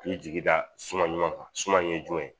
Ani jigi da suman ɲumanw kan suman ye jumɛn ?